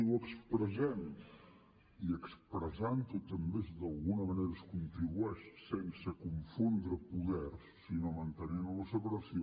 i ho expressem i expressant ho també d’alguna manera es contribueix sense confondre poders sinó mantenint la separació